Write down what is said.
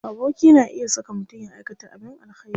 Aboki na iya saka mutum ya aikata abin alkhairi.